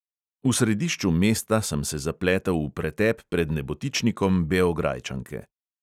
V središču mesta sem se zapletel v pretep pred nebotičnikom beograjčanke.